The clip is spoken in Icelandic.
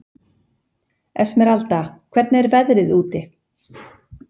Esmeralda, hvernig er veðrið úti?